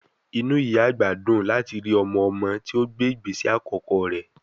Inú ìyá àgbà dùn láti rí ọmọ-ọmọ tí ó gbé ìgbésẹ̀ àkọ́kọ́ rẹ̀